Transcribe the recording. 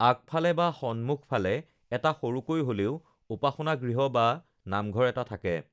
আগফালে বা সন্মুখফালে এটা সৰুকৈ হ'লেও উপাসনাগৃহ বা নামঘৰ এটা থাকে